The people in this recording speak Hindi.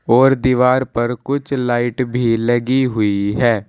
और दीवार पर कुछ लाइट भी लगी हुई है।